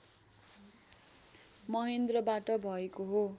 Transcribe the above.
महेन्द्रबाट भएको हो